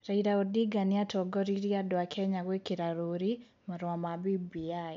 Raila Odinga nĩatongoririe andũ a Kenya gwĩkĩra rũũri marũa ma BBI,